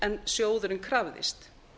en sjóðurinn krafðist